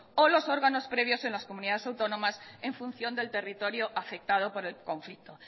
o los órganos previos en las comunidades autónomas en función del territorio afectado por el conflicto